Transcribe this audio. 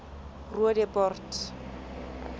roodepoort